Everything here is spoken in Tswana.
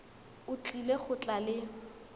o tlile go tla le